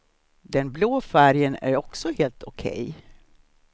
Den blå färgen är också helt okej.